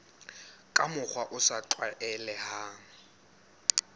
ka mokgwa o sa tlwaelehang